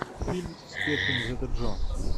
фильм с кэтрин зета джонс